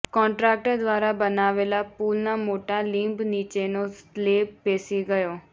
contractor દ્વારા બનાવેલા પુલના મોટા બીંબ નીચેનો સ્લેબ બેસી ગયો